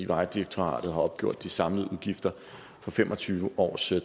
vejdirektoratet har opgjort de samlede udgifter for fem og tyve års